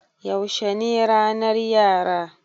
Yaushe ne ranar Yara?